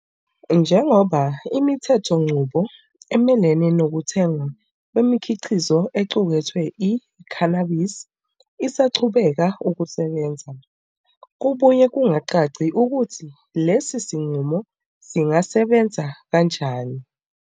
Njengoba imithethonqubo emelene nokuthengwa kwemikhiqizo equkethe i-cannabis isaqhubeka ukusebenza, kubuye kungacaci ukuthi lesi sinqumo singasebenza kanjani.